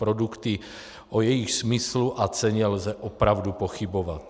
Produkty, o jejichž smyslu a ceně lze opravdu pochybovat.